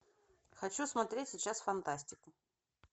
хочу смотреть сейчас фантастику